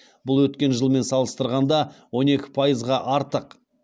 бұл өткен жылмен салыстырғанда он екі пайызға артық